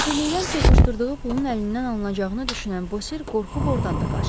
Səfirlikdən çırpışdırdığı pulun əlindən alınacağını düşünən Bosir qorxub ordan da qaçdı.